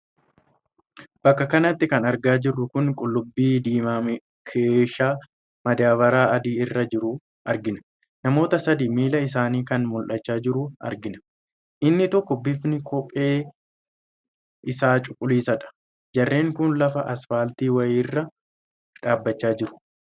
Bakka kanatti kan argaa jirru kun qullubbii diimaa keeshaa madaabaraa adii irra jiru argina. namoota sadii miilli isaanii kan mul'achaa jiru argina. inni tokko bifni kopheen isaa cuqulliisadha. jarreen kun lafa asfaaltii wayiirra dhaabbachaa jiru.